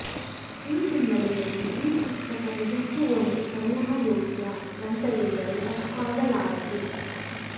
ಈ ಹಿನ್ನೆಲೆಯಲ್ಲಿ ಈ ಪುಸ್ತಕ ನಿಜಕ್ಕೂ ಒಂದು ಸಂಗ್ರಹಯೋಗ್ಯ ಗ್ರಂಥವೆಂದರೆ ತಪ್ಪಾಗಲಾರದು